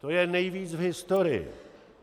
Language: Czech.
To je nejvíc v historii.